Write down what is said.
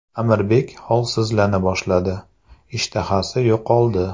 Amirbek holsizlana boshladi, ishtahasi yo‘qoldi.